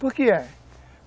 Por que é?